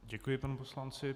Děkuji panu poslanci.